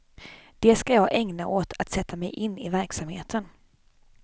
Det ska jag ägna åt att sätta mig in i verksamheten.